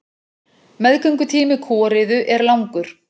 Meðgöngutími kúariðu er langur.